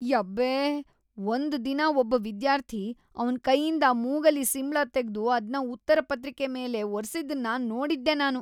ಯಬ್ಬೇ.. ಒಂದ್ ದಿನ ಒಬ್ಬ ವಿದ್ಯಾರ್ಥಿ ಅವ್ನ್ ಕೈಯಿಂದ ಮೂಗಲ್ಲಿ ಸಿಂಬ್ಳ ತೆಗ್ದು ಅದ್ನ ಉತ್ತರ ಪತ್ರಿಕೆ ಮೇಲೆ ಒರ್ಸಿದ್ದನ್ನ ನೋಡಿದ್ದೆ ನಾನು.